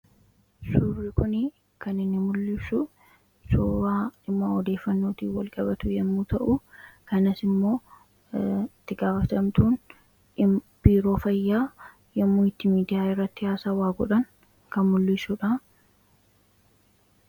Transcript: Suuraan kun kan inni mul'isu suuraa odeeffannoo wajjin wal qabatu yoo ta’u, kanas immoo itti gaafatamtuun biiroo fayyaa yommuu itti miidiyaa irratti haasa'aa godhan kan agarsiisudha.